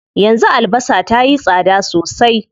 Yanzu albasa tayi tsada sosai.